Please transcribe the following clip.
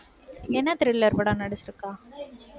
என்ன thriller~ படம் நடிச்சிட்டிருக்கா